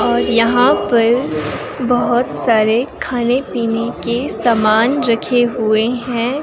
और यहां पर बहोत सारे खाने पीने के समान रखे हुए है।